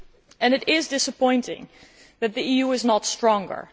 And it is disappointing that the EU is not stronger.